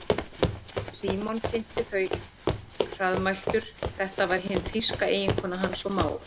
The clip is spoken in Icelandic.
Símon kynnti þau hraðmæltur, þetta var hin þýska eiginkona hans og mágur.